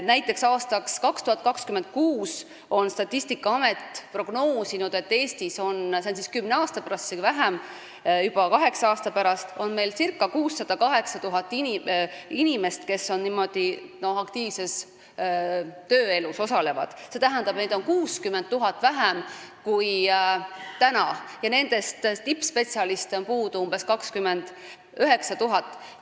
Näiteks on Statistikaamet prognoosinud, et aastaks 2026 – see on kümne aasta pärast, isegi vähem, juba kaheksa aasta pärast – on Eestis ca 608 000 inimest, kes aktiivses tööelus osalevad, st neid on 60 000 vähem kui täna, ja tippspetsialiste on puudu umbes 29 000.